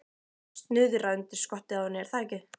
Snuðra undir skottið á henni, er það ekki?